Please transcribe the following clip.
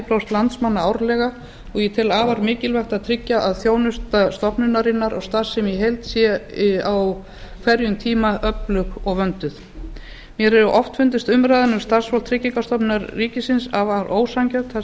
prósent landsmanna árlega og ég tel afar mikilvægt að tryggja að þjónusta stofnunarinnar og starfsemi í heild sé á hverjum tíma öflug og vönduð mér hefur oft fundist umræðan um starfsfólk tryggingastofnunar ríkisins afar ósanngjörn þar sem